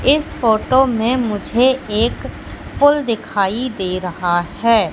इस फोटो में मुझे एक पुल दिखाई दे रहा है।